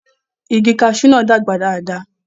igi kasú náà dàgbà dáadáa